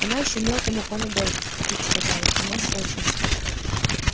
она ещё мелкому панадол купить сказала у нас кончился